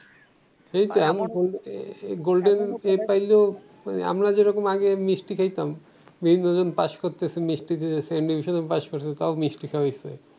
ah golden A পাইলেও আহ আমরা যেরকম আগে মিষ্টি খাইতাম বিভিন্নজন পাস করতেসে মিষ্টি দিতেসে সেকেন্ডে ডিভিশনে পাস করছে তও মিষ্টি খাওয়াইসে